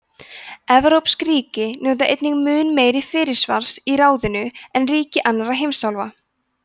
evrópsk ríki njóta einnig mun meira fyrirsvars í ráðinu en ríki annarra heimsálfa